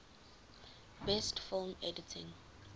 best film editing